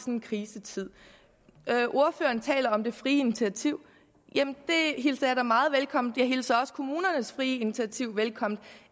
en krisetid ordføreren taler om det frie initiativ jamen det hilser jeg da meget velkommen jeg hilser også kommunernes frie initiativ velkommen